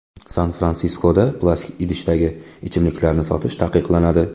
San-Fransiskoda plastik idishdagi ichimliklarni sotish taqiqlanadi.